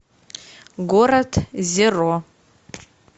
город зеро